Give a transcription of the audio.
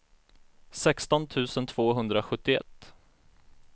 sexton tusen tvåhundrasjuttioett